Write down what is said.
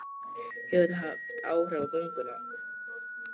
Hefur það haft áhrif á gönguna?